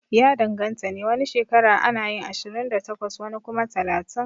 Ya danganta ne, wani shekara anayin ashirin da takwas wani kuma kwana talatin